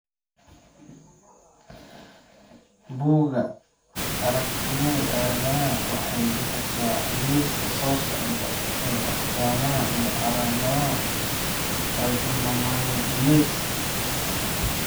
Bugga Aragtiyaha Aadanaha waxay bixisaa liiska soo socda ee astaamaha iyo calaamadaha Pyknoachondrogenesis.